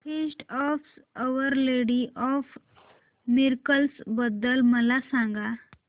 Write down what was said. feast of Our Lady of Miracles बद्दल मला सांगा